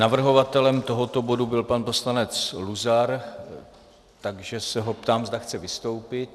Navrhovatelem tohoto bodu byl pan poslanec Luzar, takže se ho ptám, zda chce vystoupit.